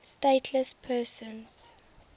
stateless persons